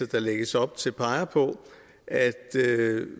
der lægges op til peger på at